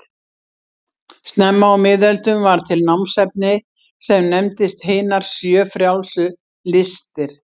Snemma á miðöldum varð til námsefni sem nefndist hinar sjö frjálsu listir.